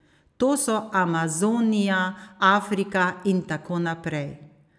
To so Amazonija, Afrika in tako naprej.